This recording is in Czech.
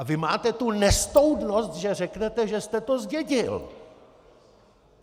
A vy máte tu nestoudnost, že řeknete, že jste to zdědil!